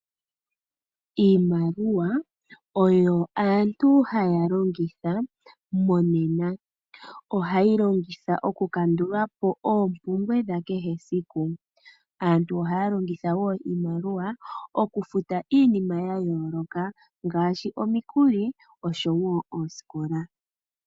Iimaliwa oyo aantu haya longitha monena ohaye yi longitha okukandulapo oompumbwe dhakehe esiku. Aantu ohaya longitha wo iimaliwa okufuta iinima ya yooloka ngaashi omikuli noshowo oosikola.